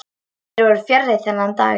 Þeir voru fjarri þennan daginn.